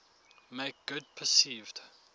make good perceived